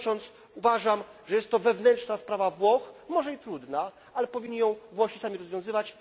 Kończąc, uważam, że jest to wewnętrzna sprawa Włoch, może i trudna, ale Włosi powinni ją sami rozwiązywać.